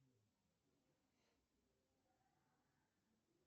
в честь кого назван линия мажину